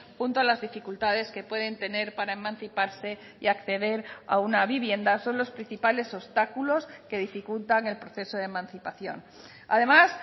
junto a las dificultades que pueden tener para emanciparse y acceder a una vivienda son los principales obstáculos que dificultan el proceso de emancipación además